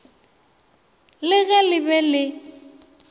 le ge le be le